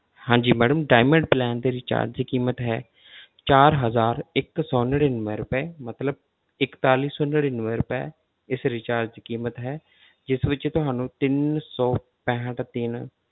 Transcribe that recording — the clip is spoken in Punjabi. ਹਾਂਜੀ madam diamond plan ਦੀ recharge ਕੀਮਤ ਹੈ ਚਾਰ ਹਜ਼ਾਰ ਇੱਕ ਸੌ ਨੜ੍ਹਿਨਵੇਂ ਰੁਪਏ ਮਤਲਬ ਇੱਕਤਾਲੀ ਸੌ ਨੜ੍ਹਿਨਵੇਂ ਰੁਪਏ ਇਸ recharge ਦੀ ਕੀਮਤ ਹੈ ਜਿਸ ਵਿੱਚ ਤੁਹਾਨੂੰ ਤਿੰਨ ਸੌ ਪੈਂਹਠ ਦਿਨ